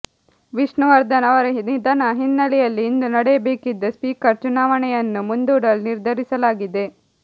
ವಿಷ್ಣುವರ್ಧನ್ ಅವರ ನಿಧನ ಹಿನ್ನೆಲೆಯಲ್ಲಿ ಇಂದು ನಡೆಯಬೇಕಿದ್ದ ಸ್ವೀಕರ್ ಚುನಾವಣೆಯನ್ನು ಮುಂದೂಡಲು ನಿರ್ಧರಿಸಲಾಗಿದೆ